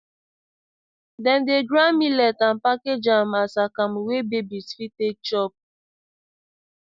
dem dey grind millet and package am as akamu wey babies fit take chop